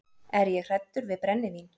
Er ég hræddur við brennivín?